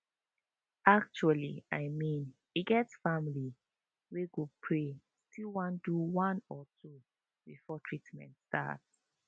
actually i mean e get family wey go pray still one do one or two before treament start